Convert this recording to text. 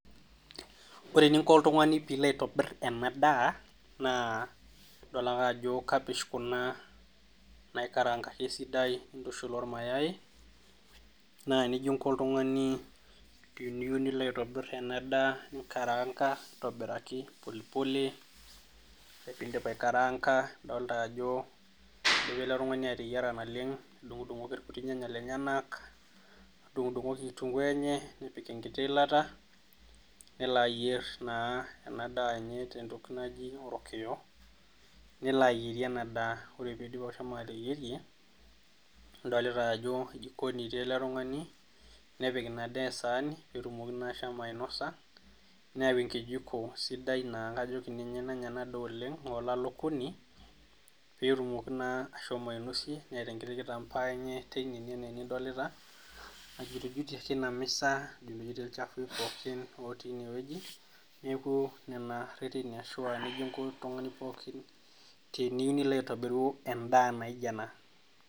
Ore eninko oltung'ani peeilo aitobir ena daa naaa idol. ake ajo kabish kuna naikaraanganki esidai eshula ormayai naa nejia inko oltung'ani teniyieu nilo aitobir ena daa ninkaraanga niyier polipole ore peindip aikaraanga adolita ajo keyiolo ele tung'ani ateyiara naleng nedung'oki irnyanya lenyenak nedung'udung'oki kitunkuu enye nepik enkiti iilata nelo ayier naa enadaa enye neloayierie ena daa ore peidip ateyierie idolita ajo jikoni etii ele tung'ani nepik eseani peetumoki ashomo ainosa netumoki naa ashomo ainosie